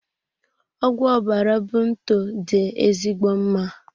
Ọgwụ ọbara bunto dị ezigbo mma.